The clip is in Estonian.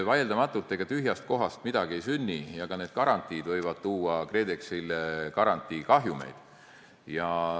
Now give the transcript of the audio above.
Vaieldamatult, ega tühjast kohast midagi ei sünni ja ka need garantiid võivad tuua KredExile garantiikahjumeid.